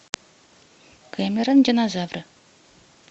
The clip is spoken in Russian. кэмерон динозавры